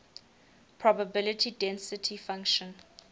probability density function